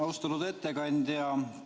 Austatud ettekandja!